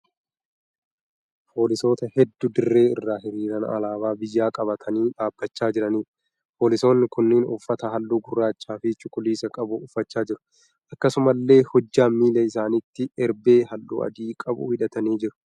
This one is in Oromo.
Foolisoota hedduu dirree irra hiriiraan alaabaa biyyaa qabatanii dhaabbachaa jiraniidha. Foolisoonni kunneen uffata halluu gurraachaa fi cuquliisa qabu uffachaa jiru. Akkasumallee hojjaa miila isaaniitti erbee halluu adii qabu hidhatanii jiru.